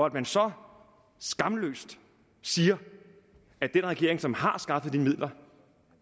at man så skamløst siger at den regering som har skaffet de midler